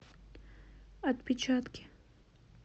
отпечатки